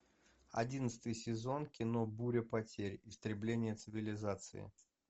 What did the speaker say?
одиннадцатый сезон кино буря потерь истребление цивилизации